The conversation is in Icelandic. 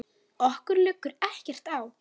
Okkur liggur ekkert á